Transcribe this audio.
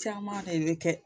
Caman ne bi kɛ